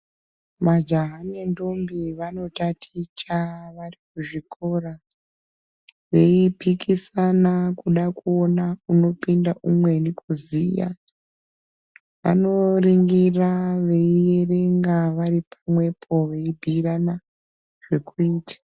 Majaya nendombi vanotaticha varikuchikora veipikisana kuona kuti ndiyani unoziya. Vanoningira veierenge vari pamwepo veibhuirana zvekuita.